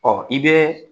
Ɔ i bɛ